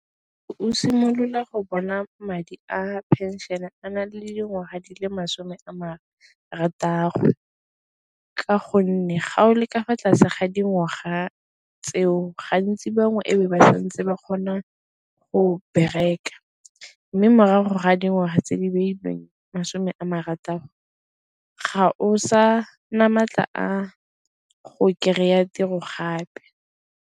Go simolola go bona madi a phenšene a na le dingwaga di le masome a marataro ka gonne ga o leka fa tlase ga dingwaga tseo gantsi bangwe e be ba santse ba kgona go bereka mme morago ga dingwaga tse di beilweng masome a marataro ga o sa na matla a go kry-a tiro gape.